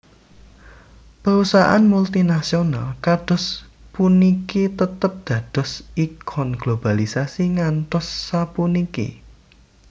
Perusahaan multinasional kados puniki tetep dados ikon globalisasi ngantos sapuniki